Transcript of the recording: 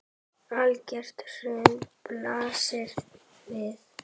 Algert hrun blasir við.